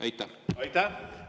Aitäh!